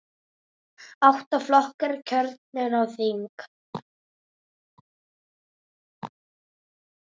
Átta flokkar kjörnir á þing.